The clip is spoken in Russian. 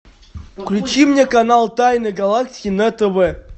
включи мне канал тайны галактики на тв